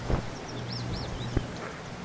Lokaorðin í bréfinu gleðja hann mest.